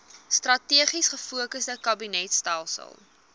strategies gefokusde kabinetstelsel